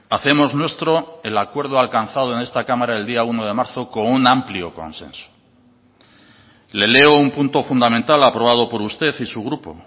hacemos nuestro el acuerdo alcanzado en esta cámara el día uno de marzo con un amplio consenso le leo un punto fundamental aprobado por usted y su grupo